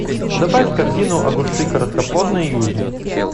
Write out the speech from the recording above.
добавь в корзину огурцы короткоплодные южный